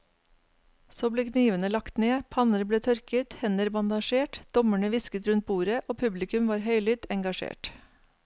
Så ble knivene lagt ned, panner ble tørket, hender bandasjert, dommerne hvisket rundt bordet og publikum var høylytt engasjert.